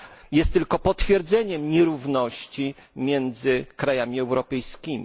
Jest tylko potwierdzeniem nierówności między krajami europejskimi.